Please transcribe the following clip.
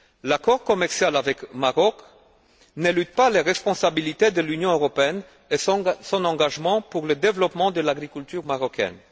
L'accord commercial avec le Maroc n'élude pas les responsabilités de l'Union européenne et son engagement pour le développement de l'agriculture marocaine.